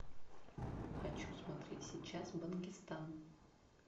хочу смотреть сейчас бангистан